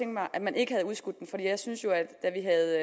mig at man ikke havde udskudt den for jeg synes jo at da vi havde